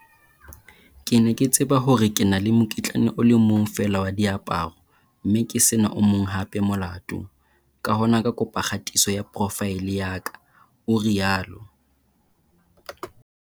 Ke ne ke tseba hore ke na le mokitlane o le mong feela wa diaparo, mme ke se na o mong hape molato, ka hona ka kopa kgatiso ya profaele ya ka, o rialo.